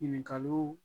Ɲininkaliw